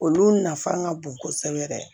Olu nafa ka bon kosɛbɛ yɛrɛ